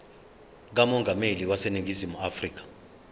kamongameli waseningizimu afrika